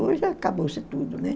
Hoje acabou-se tudo, né?